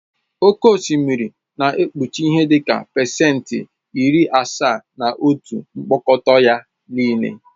Oke osimiri na-ekpuchi ihe dị ka pasentị iri asaa na otu mkpọkọta ya nịle.